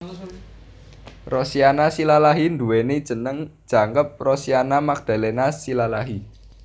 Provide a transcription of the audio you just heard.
Rosiana Silalahi nduwèni jeneng jangkep Rosiana Magdalena Silalahi